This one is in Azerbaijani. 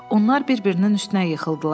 Onlar bir-birinin üstünə yıxıldılar.